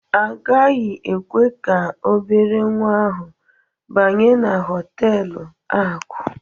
A gaghị ekwe ka obere nwa ahụ banye na họtelu akụ.